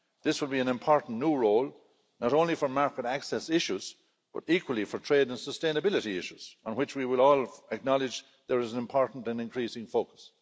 This will be an important new role, not only for market access issues but, equally, for trade and sustainability issues, on which we will all acknowledge there is an important and increasing focus.